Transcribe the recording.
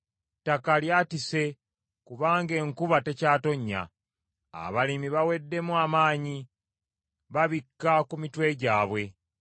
Ettaka lyatise kubanga enkuba tekyatonnya, abalimi baweddemu amaanyi, babikka ku mitwe gyabwe.